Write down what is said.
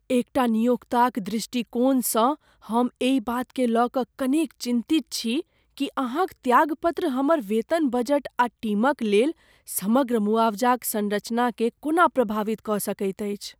एकटा नियोक्ताक दृष्टिकोणसँ हम एहि बातकेँ लय कऽ कनेक चिन्तित छी कि अहाँक त्यागपत्र हमर वेतन बजट आ टीमक लेल समग्र मुआवजाक संरचनाकेँ कोना प्रभावित कऽ सकैत अछि।